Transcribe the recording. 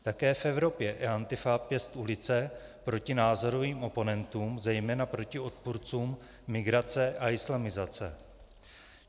Také v Evropě je Antifa pěst ulice proti názorovým oponentům, zejména proti odpůrcům migrace a islamizace.